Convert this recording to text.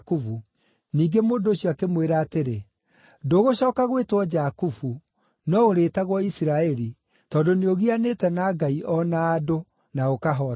Ningĩ mũndũ ũcio akĩmwĩra atĩrĩ, “Ndũgũcooka gwĩtwo Jakubu, no ũrĩĩtagwo Isiraeli, tondũ nĩũgianĩte na Ngai o na andũ, na ũkahootana.”